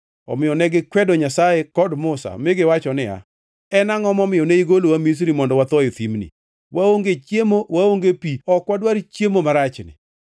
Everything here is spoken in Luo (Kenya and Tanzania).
omiyo negikwedo Nyasaye kod Musa, mi giwacho niya, “En angʼo momiyo ne igolowa Misri mondo watho e thimni? Waonge chiemo, waonge pi! Ok wadwar chiemo marachni!”